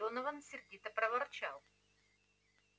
донован сердито проворчал